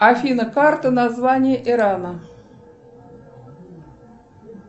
афина карта название ирана